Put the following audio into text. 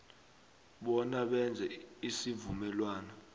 bona benze isivumelwano